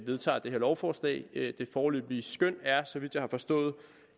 vedtager det her lovforslag det foreløbige skøn er så vidt jeg har forstået